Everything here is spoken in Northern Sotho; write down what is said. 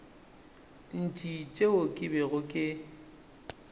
ntši tšeo ke bego ke